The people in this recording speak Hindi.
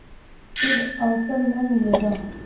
फिर अवसर न मिलेगा